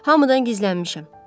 Hamıdan gizlənmişəm.